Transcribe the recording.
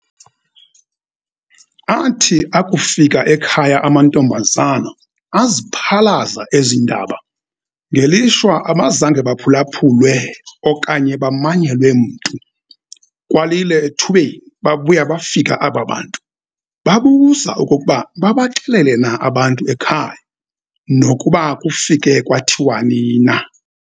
Athi akufika ekhaya amantombazana aziphalaza ezi indaba, ngelishwa abazange baphulaphulwe okanye bamanyelwe mntu. Kwalile ethubeni, babuya bafika aba bantu, babuza okokuba babaxelele na abantu ekhaya, nokuba kufike kwathiwani na?